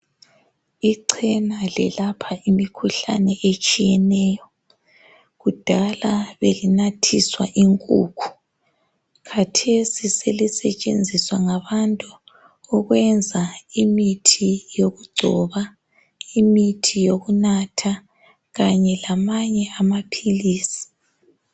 Ichena lelapha imkhuhlane etshiyeneyo kudala belinathiswa inkukhu, khathesi selisetshenzisa ngabantu ukwenza imithi yokugcoba, imithi yokunatha kanye lamanye amaphilisi.